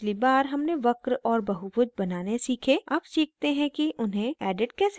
पिछली बार हमने वक्र और बहुभुज बनाने सीखे अब सीखते हैं कि उन्हें edit कैसे करते हैं